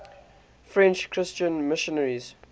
french christian missionaries